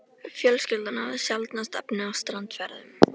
Fjölskyldan hafði sjaldnast efni á strandferðum.